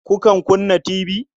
Kukan kunna tibi?